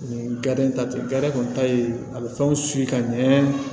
Nin ta tɛ kɔni ta ye a bɛ fɛnw ka ɲɛ